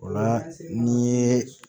O la n'i ye